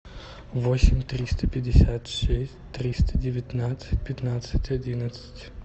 восемь триста пятьдесят шесть триста девятнадцать пятнадцать одиннадцать